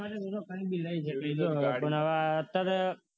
પણ અત્યારે